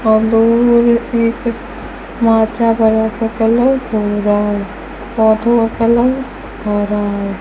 और दो वो एक कलर भूरा है पौधों का कलर हरा है।